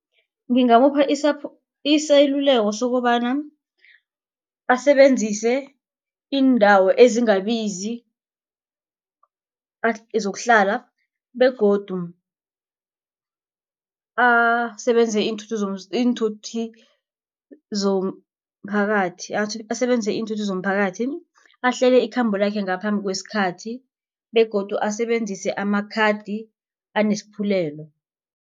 Ngingamupha iseluleko sokobana asebenzise iindawo ezingabizi zokuhlala begodu asebenzise iinthuthi zomphakathi asebenzise iinthuthi zomphakathi, ahlele ikhambo lakhe ngaphambi kwesikhathi begodu asebenzise amakhadi anesiphululelo.